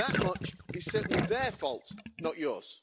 That much is certainly their fault, not yours.